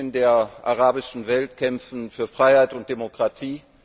Die Menschen in der arabischen Welt kämpfen für Freiheit und Demokratie.